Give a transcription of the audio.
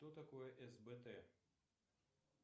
что такое сбт